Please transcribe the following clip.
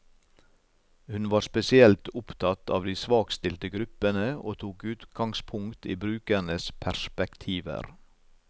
Hun var spesielt opptatt av de svakstilte gruppene, og tok utgangspunkt i brukernes perspektiver.